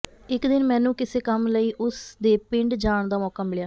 ਇੱਕ ਦਿਨ ਮੈਨੂੰ ਕਿਸੇ ਕੰਮ ਲਈ ਉਸ ਦੇ ਪਿੰਡ ਜਾਣ ਦਾ ਮੌਕਾ ਮਿਲਿਆ